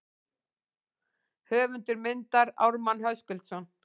Höfundur myndar Ármann Höskuldsson.